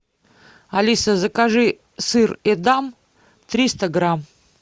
алиса закажи сыр эдам триста грамм